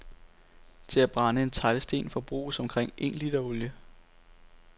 Til at brænde en teglsten forbruges omkring en liter olie.